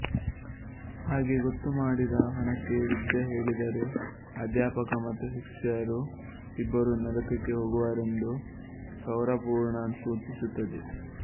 ಹಾಗೆ ಗೊತ್ತುಮಾಡಿದ ಹಣಕ್ಕೆ ವಿದ್ಯೆ ಹೇಳಿದರೆ ಅಧ್ಯಾಪಕ ಮತ್ತು ಶಿಷ್ಯರು ಇಬ್ಬರೂ ನರಕಕ್ಕೆ ಹೋಗುವರೆಂದು ಸೌರಪುರಾಣ ಸೂಚಿಸುತ್ತದೆ